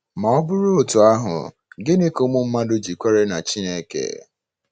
Ma ọ bụrụ otú ahụ, ginị ka ụmụ mmadụ ji kwere na Chineke?